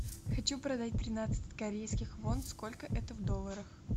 хочу продать тринадцать корейских вон сколько это в долларах